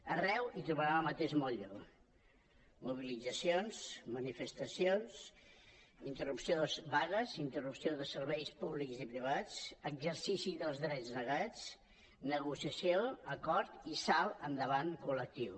arreu hi trobaren el mateix mot·lle mobilitzacions manifestacions vagues interrupció de serveis públics i privats exercici dels drets negats negociació acord i salt endavant col·lectiu